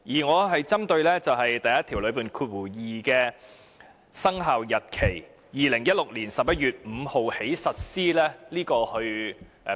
我針對的是第12條內所載的："自2016年11月5日起實施"。